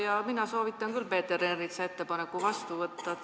Ja mina soovitan küll Peeter Ernitsa ettepaneku vastu võtta.